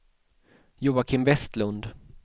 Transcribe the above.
Joakim Westlund